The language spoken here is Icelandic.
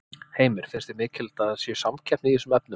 Heimir: Finnst þér mikilvægt að það sé samkeppni í þessum efnum?